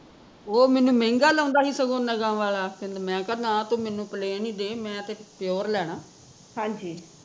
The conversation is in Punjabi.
ਓਹ ਮੈਂਨੂੰ ਮਹਿੰਗਾ ਲਾਉਂਦਾ ਸੀ ਸਗੋਂ ਨਗਾਂ ਵਾਲਾ ਕਹਿੰਦਾ ਮੈਂ ਕਿਹਾ ਨਾ ਤੂ ਮੈਂਨੂੰ plane ਹੀਂ ਦੇ ਮੈਂ ਤੇ pure ਲੈਣਾ